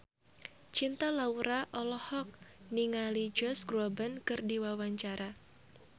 Cinta Laura olohok ningali Josh Groban keur diwawancara